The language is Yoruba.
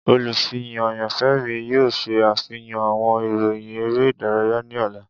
Olufihan ayanfẹ mi yoo ṣe afihan awọn iroyin ere idaraya ni ọla.